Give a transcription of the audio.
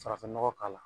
Farafin nɔgɔ k'a la